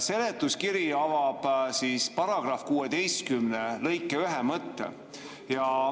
Seletuskiri avab § 16 lõike 1 mõtte.